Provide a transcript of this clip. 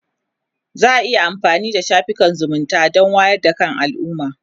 za'a iya amfanin da shafukan zumunta Dan wayar da kan alumma